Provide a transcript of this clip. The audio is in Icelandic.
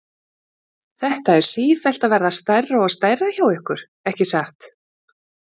Þetta er sífellt að verða stærra og stærra hjá ykkur, ekki satt?